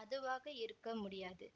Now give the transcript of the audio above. அதுவாக இருக்க முடியாது